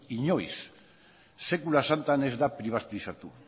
inoiz sekula santan ez da pribatizatu